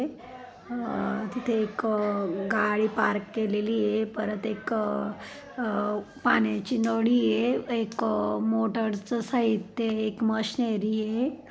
अ तिथे एक अ गाड़ी पार्क केलेलीये परत एक अ अ पाण्याची नडी ये एक अ मोटर च साहित्य ये एक मशीनरी ये.